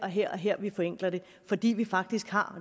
her og her vi forenkler det fordi vi faktisk har